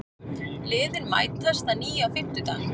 Liðin mætast að nýju á fimmtudag